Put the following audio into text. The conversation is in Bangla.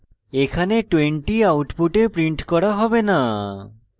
এখানে 20 output printed করা হবে না